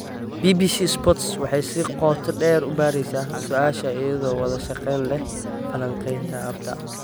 BBC Sports waxay si qoto dheer u baaraysaa su'aashaas iyadoo wada shaqayn la leh falanqeeyaha Opta.